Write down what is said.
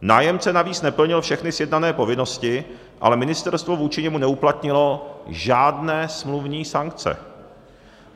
Nájemce navíc neplnil všechny sjednané povinnosti, ale ministerstvo vůči němu neuplatnilo žádné smluvní sankce.